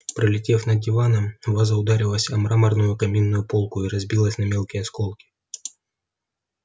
пролетев над диваном ваза ударилась о мраморную каминную полку и разбилась на мелкие осколки